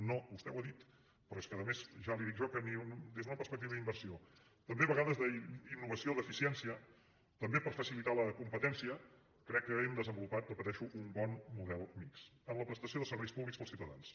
no vostè ho ha dit però és que a més ja li dic jo que des d’una perspectiva d’inversió també a vegades d’innovació d’eficiència també per facilitar la competència crec que hem desenvolupat ho repeteixo un bon model mixt en la prestació de serveis públics per als ciutadans